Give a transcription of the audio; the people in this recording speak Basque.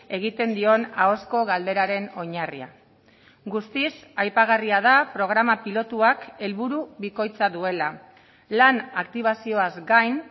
egiten dion ahozko galderaren oinarria guztiz aipagarria da programa pilotuak helburu bikoitza duela lan aktibazioaz gain